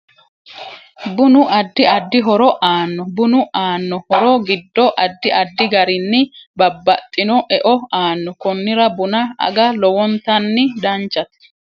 Bunu addi addi horo aanno bunu aanno horo giddo addi addi garinni babaxino e'o aanno konnira buna aga lowontani danchaho